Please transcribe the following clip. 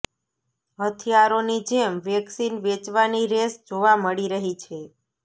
હથિયારોની જેમ વેક્સિન વેચવાની રેસ જોવા મળી રહી છે